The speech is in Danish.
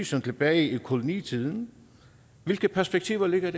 som tilbage i kolonitiden hvilke perspektiver ligger